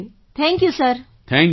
thank you thank you sir